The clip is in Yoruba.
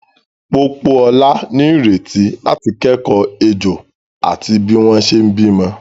Pópóọlá ní ìrètí láti kẹ́kọ̀ọ́ ejò àti bí wọ́n ṣe bímọ.